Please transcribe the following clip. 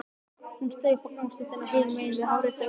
Hún steig upp á gangstéttina hinum megin á hárréttu augnabliki.